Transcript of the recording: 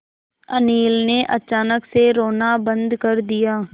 अनिल ने अचानक से रोना बंद कर दिया